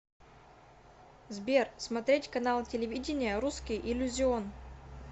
сбер смотреть канал телевидения русский иллюзион